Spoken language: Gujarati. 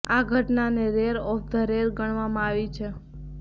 આ ઘટનાને રેર ઓફ ધ રેર ગણવામાં આવી છે